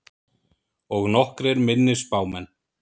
Og nokkrir minni spámenn.